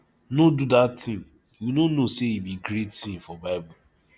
no do dat thing you no know say e be great sin for bible